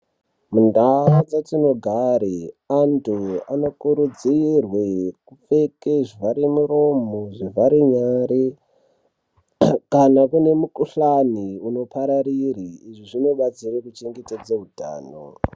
Mundaa dzatinogare antu anokurudzirwe kupfeke zvivhare muromo, zvivhare nyare kana kune mukuhlane unopararire zvinobatsire kuchengetedze hutano.